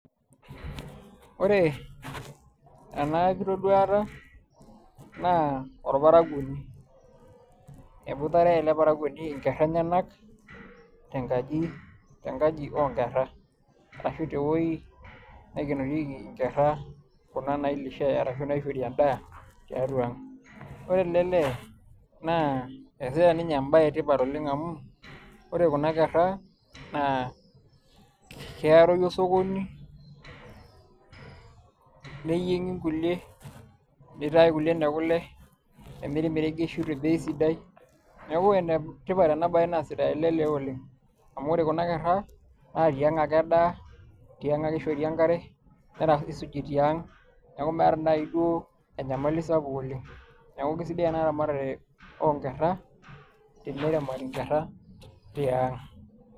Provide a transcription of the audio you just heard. Ore ena kitoduata naa orparakuoni eboitare ele parakuoni inkera enyanak enkaji te nkaji oonkera ashu te wueji naikenorieki inkera kuna nailishai ashuu naishori endaa tiatua ang ore ele lee naa eesita ninye embaye. etipat amu amu ore kuna kera naayaroyu osokoni niyieng'i inkulie nitai kulie ine kule nemiri imeregeshi tebei sidai neeku ene tipat ena baye naasita elelee oleng amu ore kuna kera naa tiang ake edaaa tiang ake eishori enkare neisuji tiang neeku meeta duo naaji enyamali sapuk oleng neeku keisidai ena ramatare oonkera teneramati inkera tiang.